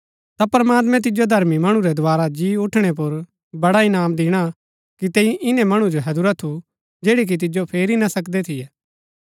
ता प्रमात्मैं तिजो धर्मी मणु रै दोवारा जी ऊठणै पुर बड़ा इनाम दिणा कि तैंई इन्‍नै मणु जो हैदुरा थू जैड़ै कि तिजो फेरी ना सकदै थियै